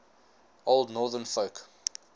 old northern folk